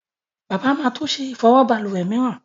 Bàbá má to ṣe Ìfọwọ́ balùwè mìíràn.